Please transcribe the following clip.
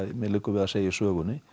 mér liggur við að segja í sögunni